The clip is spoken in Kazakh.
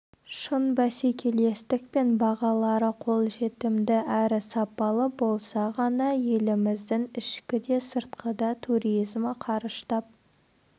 шын бәсекелестік пен бағалары қолжетімді әрі сапалы болса ғана еліміздің ішікі де сыртқы да туризмі қарыштап